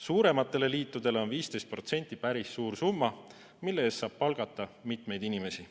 Suurematele liitudele on 15% päris suur summa, mille eest saab palgata mitu inimest.